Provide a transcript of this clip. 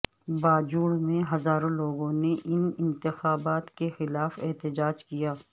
باجوڑ میں ہزاروں لوگوں نے ان انتخابات کے خلاف احتجاج کیا